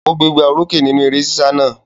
Ó gbégbá orókè nínú eré sísá náà?